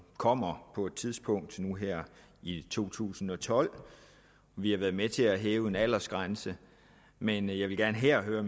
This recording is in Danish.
kommer på et tidspunkt i to tusind og tolv vi har været med til at hæve aldersgrænsen men jeg vil gerne høre høre